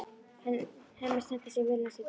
Hemmi stendur sig vel næstu daga.